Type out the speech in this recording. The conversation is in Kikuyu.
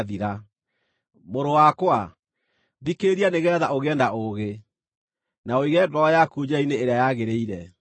Mũrũ wakwa, thikĩrĩria nĩgeetha ũgĩe na ũũgĩ, na ũige ngoro yaku njĩra-inĩ ĩrĩa yagĩrĩire.